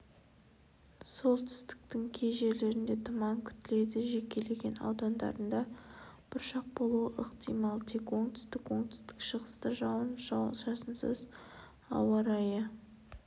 солтүстіктің кей жерлерінде тұман күтіледі жекелеген аудандарында бұршақ болуы ықтимал тек оңтүстік оңтүстік-шығыста жауын-шашынсыз ауа райы